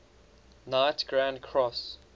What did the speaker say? knight grand cross